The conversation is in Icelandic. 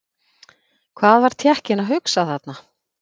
Hvað var Tékkinn að hugsa þarna?